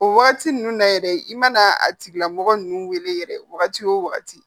O wagati ninnu na yɛrɛ i mana a tigilamɔgɔ ninnu wele yɛrɛ wagati o wagati